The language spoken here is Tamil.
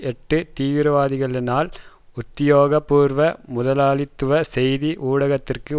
எட்டு தீவிரவாதிகளினால் உத்தியோகபூர்வ முதலாளித்துவ செய்தி ஊடகத்திற்கு